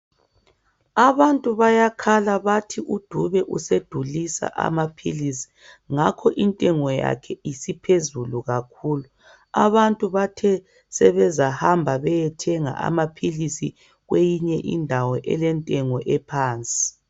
Abantu bayakhala bathi uDube usedulisa amaphilisi, ngakho intengo yakhe isiphezulu kakhulu. Abantu bathe sebezahamba beyethenga amaphilisi kwenye indawo, elentengo ephansi.